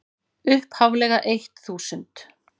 upphaflega eitt þúsund.